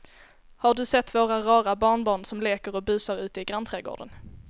Har du sett våra rara barnbarn som leker och busar ute i grannträdgården!